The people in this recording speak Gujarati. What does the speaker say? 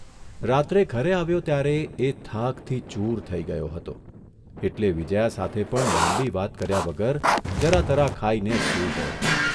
રાત્રે ઘરે આવ્યો ત્યારે એ થાકથી ચૂર થઇ ગયો હતો એટલે વિજયા સાથે પણ લાંબી વાત કર્યા વગર જરા તરા ખાઇને સૂઇ ગયો.